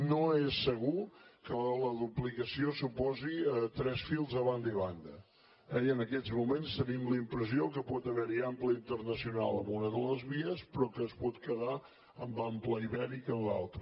no és segur que la duplicació suposi tres fils a banda i banda eh i en aquests moments tenim la impressió que pot haver hi ample internacional en una de les vies però que es pot quedar en ample ibèric en l’altra